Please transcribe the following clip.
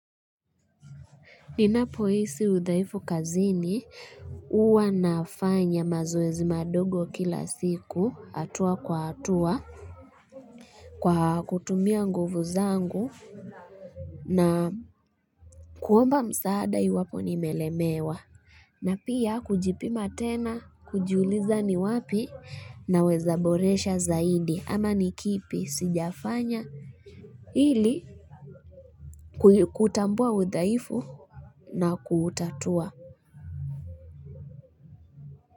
Ninapohisi uthaifu kazini huwa nafanya mazoezi madogo kila siku hatua kwa hatua kwa kutumia nguvu zangu na kuomba msaada iwapo nimelemewa. Na pia kujipima tena kujiuliza ni wapi naweza boresha zaidi ama ni kipi sijafanya ili kutambua uthaifu na kuutatua.